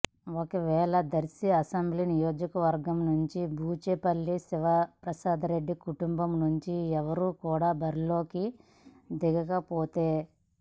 ఒకవేళ దర్శి అసెంబ్లీ నియోజకవర్గం నుండి బూచేపల్లి శివప్రసాద్రెడ్డి కుటుంబం నుండి ఎవరూ కూడ బరిలోకి దిగకపోతే